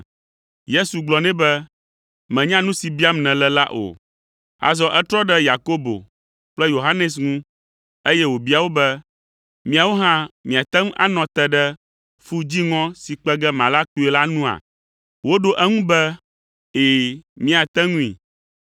Yesu gblɔ nɛ be, “Mènya nu si biam nèle la o!” Azɔ etrɔ ɖe Yakobo kple Yohanes ŋu, eye wòbia wo be, “Miawo hã, miate ŋu anɔ te ɖe fu dziŋɔ si kpe ge mala kpuie la nua?” Woɖo eŋu be, “Ɛ̃, míate ŋui.”